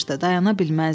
dayana bilməzdi.